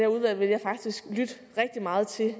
udvalg vil jeg faktisk lytte rigtig meget til